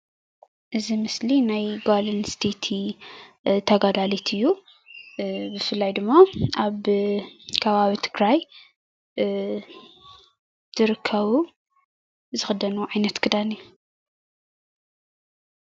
እዚ ምስሊ ናይ ጓል አንስተይቲ ተጋዳሊት እዩ። ብፍላይ ድማ አብ ከባቢ ትግራይ ዝርከቡ ዝክደንዎ ዓይነት ክዳን እዩ።